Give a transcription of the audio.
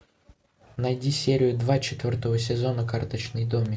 найди серию два четвертого сезона карточный домик